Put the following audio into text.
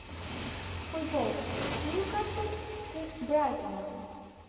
футбол ньюкасл с брайтоном